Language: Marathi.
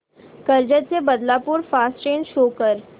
कर्जत ते बदलापूर फास्ट ट्रेन शो कर